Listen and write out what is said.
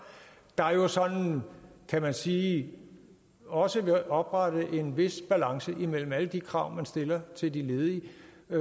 der jo sådan kan man sige også vil oprette en vis balance imellem alle de krav man stiller til de ledige